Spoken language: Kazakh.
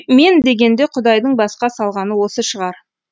мен дегенде құдайдың басқа салғаны осы шығар